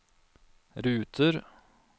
ruter